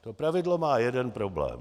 Toto pravidlo má jeden problém.